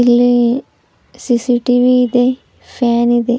ಇಲ್ಲಿ ಸಿಸಿಟಿವಿ ಇದೆ ಫ್ಯಾನ್ ಇದೆ.